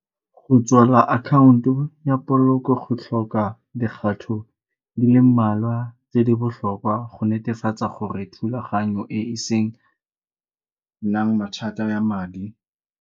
Go tswala akhaonto ya polokelo go tlhoka dikgato di le mmalwa tse di botlhokwa go netefatsa gore thulaganyo e e senang mathata ya madi.